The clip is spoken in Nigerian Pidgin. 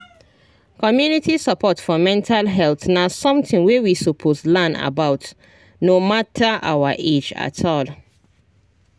community support for mental health na something wey we suppose learn about no matter our age at all